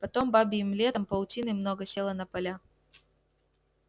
потом бабьим летом паутины много село на поля